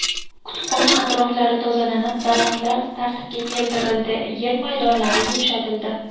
Kutubxona atroflari tozalanib, daraxtlar tartibga keltirildi, yer maydonlari yumshatildi.